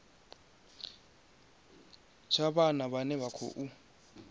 tsha vhana vhane vha khou